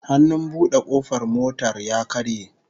Hannun bude kofar motar ya karye